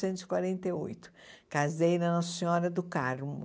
e quarenta e oito. Casei na Nossa Senhora do Carmo.